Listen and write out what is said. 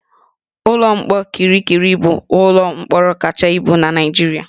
Ụlọ mkpọrọ Kirikiri bụ ụlọ mkpọrọ kacha ibu na Naịjirịa